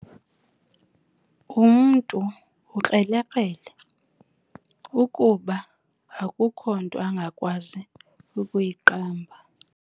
Umntu ukrelekrele kuba akukho nto angakwazi ukuyiqamba.